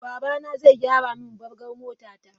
Babana zai gyara min bargar motata.